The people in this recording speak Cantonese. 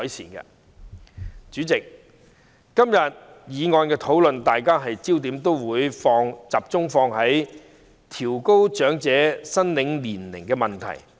代理主席，在今天的議案辯論，大家都會聚焦調高長者綜援合資格年齡的問題。